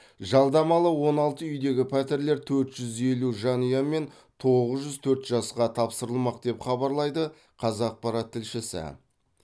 жалдамалы он алты үйдегі пәтерлер төрт жүз елу жанұя мен тоғыз жүз төрт жасқа тапсырылмақ деп хабарлайды қазақпарат тілшісі